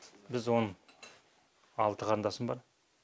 біз он алты қарындасым бар